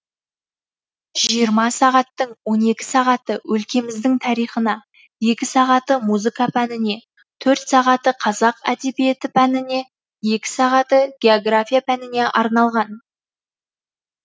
жиырма сағаттың он екі сағаты өлкеміздің тарихына екі сағаты музыка пәніне төрт сағаты қазақ әдебиеті пәніне екі сағаты география пәніне арналған